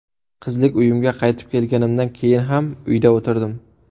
Qizlik uyimga qaytib kelganimdan keyin ham uyda o‘tirdim.